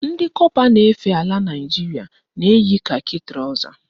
Ndị kọpa na-efe ala Naịjiria na-eyi kakị trọza